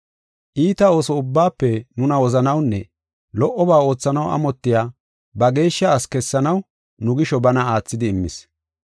Iita ooso ubbaafe nuna wozanawunne lo77oba oothanaw amotiya ba geeshsha asi kessanaw nu gisho bana aathidi immis.